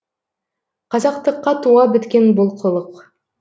қазақтыққа туа біткен бұл қылық